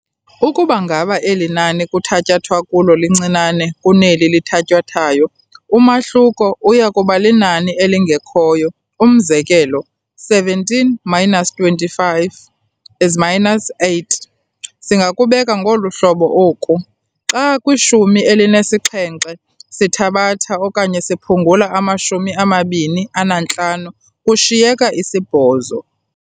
Ukuba ngaba eli nani kuthatyathwa kulo lincinane kunelo lithatyathwayo, umahluko uyakuba linani elingekhoyo. Umzekelo, 17 - 25 is -8 . Singakubeka ngolu hlobo oku, "xa kwishumi elinesixhenxe sithabatha okanye siphungula amashumi amabini anantlanu kushiyeka isibhozo."